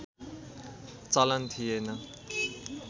चलन थिएन